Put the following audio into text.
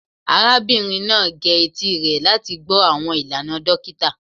Arabinrin arugbo naa ge eti rẹ lati gbọ awọn ilana dokita